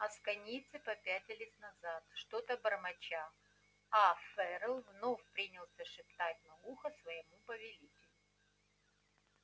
асконийцы попятились назад что-то бормоча а ферл вновь принялся шептать на ухо своему повелителю